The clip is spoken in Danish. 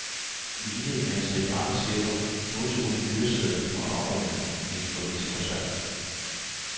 I lighed med en stribe andre chefer modtog hun en fyreseddel under oprydningen i den forliste koncern.